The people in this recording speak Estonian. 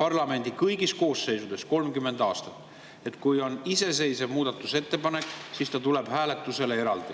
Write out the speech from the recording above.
parlamendi kõigis koosseisudes 30 aastat –, et kui on iseseisev muudatusettepanek, siis ta tuleb hääletusele eraldi.